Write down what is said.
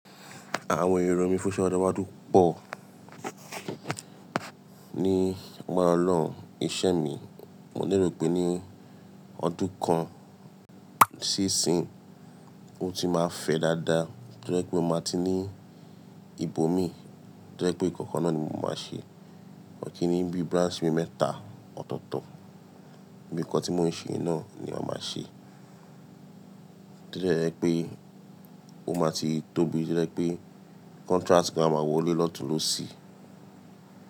Àwọn èrò mí fún ọjọ́ iwájú pọ̀ ní agbára ọlọ́run iṣẹ́ mi, mo lérè pé ní ọdún kan sí ìsin, ó ti máa fẹ́ dáadáa. Tí ó jé pé mo máa ti ní ìbò mí, tí ó jé pé nkan kan náà ni mo máa ṣe. Kín ní bí branch bi mẹ́ta ọ̀tọ̀ọ̀tọ̀, bí nkan tí mo ń ṣe náà ni ma máa ṣe. Tí ó de je pé ó máa ti tóbi, tí ó jé pé contract gan á máa wọlé lọ́tún lóṣì.